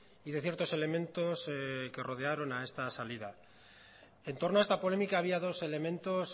y de ciertos elementos que rodearon a está salida en torno a esta polémica había dos elementos